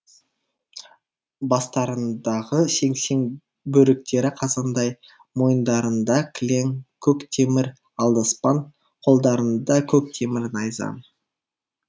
бастарындағы сеңсең бөріктері қазандай мойындарында кілең көк темір алдаспан қолдарында көк темір найза